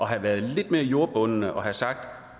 have været lidt mere jordbundne og have sagt